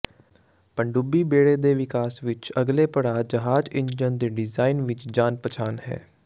ਪਣਡੁੱਬੀ ਬੇੜੇ ਦੇ ਵਿਕਾਸ ਵਿਚ ਅਗਲੇ ਪੜਾਅ ਜਹਾਜ਼ ਇੰਜਣ ਦੇ ਡਿਜ਼ਾਇਨ ਵਿੱਚ ਜਾਣ ਪਛਾਣ ਹੈ